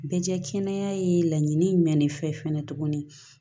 Bɛ kɛ kɛnɛya ye laɲini jumɛn de fɛ fɛnɛ tuguni